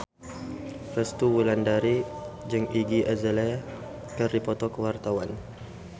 Resty Wulandari jeung Iggy Azalea keur dipoto ku wartawan